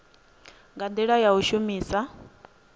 nga ndila ya u shumisa